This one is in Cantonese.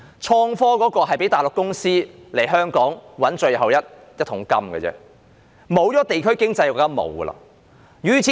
創科只是讓內地公司來港賺取最後一桶金，當地區經濟消失後，就甚麼也沒有了。